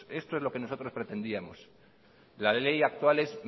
esto es lo que nosotros pretendíamos la ley actual es